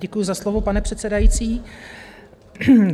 Děkuji za slovo, pane předsedající.